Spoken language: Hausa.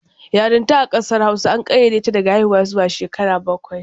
Yarinta a ƙasar Hausa an ƙayyade ta daga haiwuwa zuwa shekara bakwai.